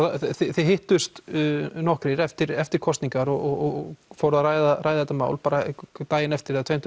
þið hittust nokkrir eftir eftir kosningar og fóruð að ræða ræða þetta mál daginn eftir eða tveim